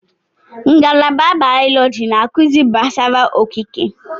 Ngalaba bayọlọji na-akụzi gbasara okike.